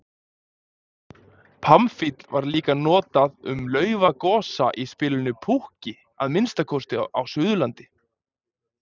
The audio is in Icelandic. Pamfíll var líka notað um laufagosa í spilinu púkki, að minnsta kosti á Suðurlandi.